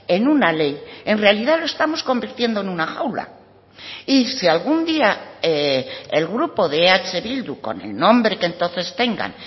en una ley en realidad lo estamos convirtiendo en una jaula y si algún día el grupo de eh bildu con el nombre que entonces tengan